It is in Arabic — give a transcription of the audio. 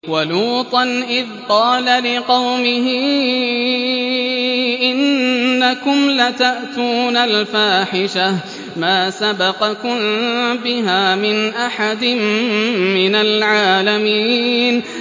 وَلُوطًا إِذْ قَالَ لِقَوْمِهِ إِنَّكُمْ لَتَأْتُونَ الْفَاحِشَةَ مَا سَبَقَكُم بِهَا مِنْ أَحَدٍ مِّنَ الْعَالَمِينَ